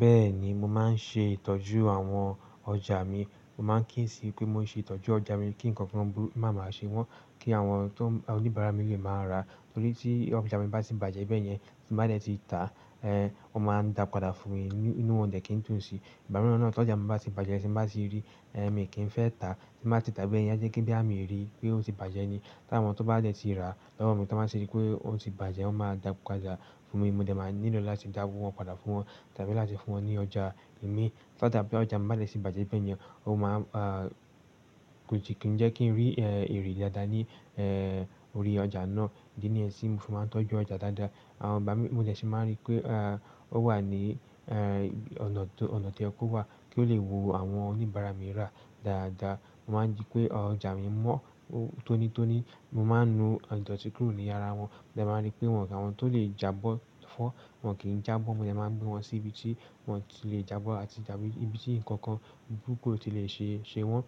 Bẹ́ẹ̀ni, mo máa ń ṣe ìtọ́jú àwọn ọjà mi. Mo máa ń kí ń sí pé mo ṣe ìtọ́jú ọjà mi kí nǹkan kan bú máa máa ṣe wọ́n, kí àwọn tó oníbàárà mi lè máa ra, torí tí ọjà mi bá ti bàjẹ́ bẹ́ẹ̀ yẹn, tí nbá dẹ̀ ti ta, eh, wọ́n máa ń dà padà fún mi ínú wọn o dẹ̀ kí ń dún ṣí. Ìgbà mìíràn náà tó ọjà mi bá ti bàjẹ́, ti n bá ti rí, eh, mi kì í fẹ́ ta, ti n bá ti tà bẹ́ẹ̀ yẹn a jẹ́ pé bóyá mi rí pé ó ti bàjẹ́ ni. Tí àwọn tó bá dẹ̀ ti rà lọ́wọ́ mi tí wọ́n bá ṣe rí pé ó ti bàjẹ́, wọ́n máa dà padà fún mi, mo dẹ̀ máa nílò láti dáwọ́ wọn padà fún wọn tàbí láti fún wọn ní ọjà mi. Tótàbí ọjà mi bá dẹ̀ ti bàjẹ́ bẹ́ẹ̀ yẹn, ó máa, à, ko kin jẹ kí n rí, ẹ, ère dáadáa ní, ẹ, orí ọjà náà. Ìdí ni yẹn ti mi fi máa ń tọ́jú ọjà dáadáa, àwọn ìgbà mi, mo dẹ̀ sin ma rí pé eh ó wà ní ọ̀nà tí oye kò wà, kí ó lè wun àwọn oníbàárà. Mo máa ń rí pé ọjà mi mọ́ ó tónítóní, mo máa ń nu ìdọ̀tí kúrò ní ara wọn. Mo dẹ̀ máa rí pé wọ́n kò àwọn tó lè jábọ́ fọ́, wọ́n kì í jábọ́, mo dẹ̀ máa gbé wọn sí ibi tí wọ́n ti lè jábọ̀ àti da ibi tí nǹkan búruki o ti lè ṣe, ṣe wọ́n.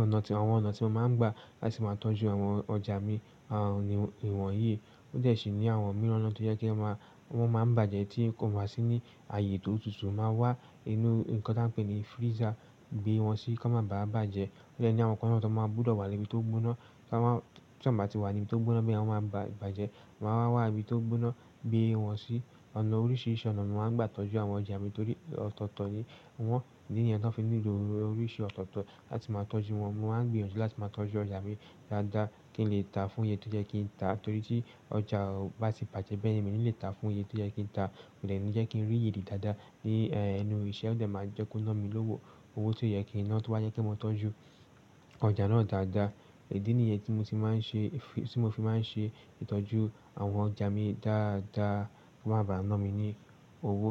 Ọ̀nà tí àwọn ọ̀nà tí mo máa ń gbà láti máa tọ́jú àwọn ọjà mi, à, ni ìwọ̀n yìí. Ó dẹ̀ sì ní àwọn mìíràn ọ̀nà tó jẹ́ kí a máa wọ́n máa ń bàjẹ́ tí ń kọ̀ wá sí ní ààyè tó tutù, mo máa wá inú nǹkan tí a ń pè ní freezer gbé wọn sí kí wọ́n má bà bàjẹ́. Ó dẹ̀ ní àwọn nǹkan náà tó máa gbúdọ̀ wà ní ibi tó gbóná, kí wọ́n má tí wọ́n bá ti wà ní ibi tó gbóná bí ẹ wọn máa ba bàjẹ́, mo máa wá wá ibi tó gbóná gbé wọn sí. Ọ̀nà oríṣiríṣi ọ̀nà ni mo máa ń gbà tọ́jú àwọn ọjà mi torí ọ̀tọ̀ọ̀tọ̀ ni wọ́n, ìdí nìyẹn tí wọ́n fi nílò oríṣi ọ̀tọ̀ọ̀tọ̀ láti máa tọ́jú wọn. Mo máa ń gbìyànjú láti máa tọ́jú ọjà mi dáadáa kí n lè ta fún iye tó jẹ́ kí n ta torí tí ọjà bá ti bàjẹ́ bẹ́ẹ̀ yẹn, mi ni lè ta fún iye tó yẹ kí n ta. Kò dẹ̀ ní jẹ́ kí n rí èrè dáadáa ní, ẹ, ẹnu iṣẹ́ ó dẹ̀ máa jẹ́ kó ná mi lówó. Owó tí ó yẹ kí n ná tó bá jẹ́ pé mo tọ́jú ọjà náà dáadáa. Ìdí ni yẹn tí mo ti máa ń ṣe, tí mo fi máa ń ṣe ìtọ́jú àwọn ọjà mi dáadáa, kò máa bà náà mi ni owó.